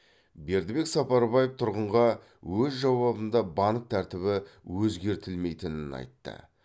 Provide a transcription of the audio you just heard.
бердібек сапарбаев тұрғынға өз жауабында банк тәртібі өзгертілмейтінін айтты